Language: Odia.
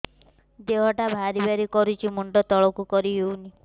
ଦେହଟା ଭାରି ଭାରି କରୁଛି ମୁଣ୍ଡ ତଳକୁ କରି ହେଉନି